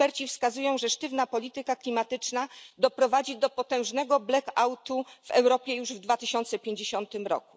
Eksperci wskazują, że sztywna polityka klimatyczna doprowadzi do potężnego blackoutu w Europie już w 2050 r.